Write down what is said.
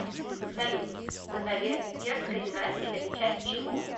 салют ганноверская династия это часть чего